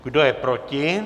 Kdo je proti?